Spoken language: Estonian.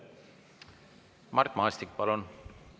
Mart Maastik, palun!